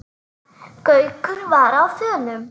Gaukur var á þönum.